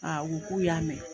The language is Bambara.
u k'u y'a mɛn.